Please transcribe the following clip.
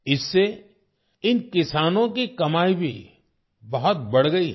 इससे इन किसानों की कमाई भी बहुत बढ़ गई है